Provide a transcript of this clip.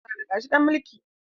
Za a naɗa shi dan maliki.